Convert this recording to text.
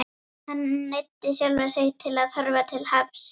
Hann neyddi sjálfan sig til að horfa til hafs.